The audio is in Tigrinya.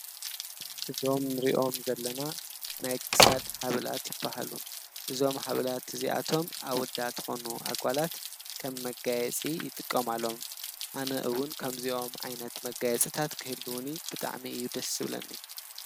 እዞም ንሪኦም ዘለና ናይ ክሳድ ሃብላት ይበሃሉ ።እዞም ሃብላት እዚኣቶም ኣወዳት ኮኑ ኣጓላት ከም መጋየፂ ይጥቀማሎም ።ኣነ እውን ከምዚኦም ዓይነት መጋየፂታት ክህልዉኒ ብጣዕሚ እዩ ደስ ዝብለኒ።